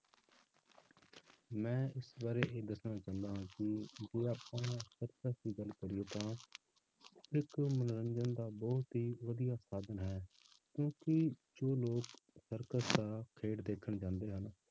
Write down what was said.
ਮੈਂ ਇਸ ਬਾਰੇ ਇਹ ਦੱਸਣਾ ਚਾਹੁੰਦਾ ਹਾਂ ਕਿ ਹੁਣ ਆਪਾਂ circus ਦੀ ਗੱਲ ਕਰੀਏ ਤਾਂ ਇੱਕ ਮਨੋਰੰਜਨ ਦਾ ਬਹੁਤ ਹੀ ਵਧੀਆ ਸਾਧਨ ਹੈ, ਕਿਉਂਕਿ ਜੋ ਲੋਕ circus ਦਾ ਖੇਡ ਦੇਖਣ ਜਾਂਦੇ ਹਨ,